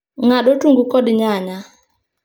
Ng'ad otungu kod nyanya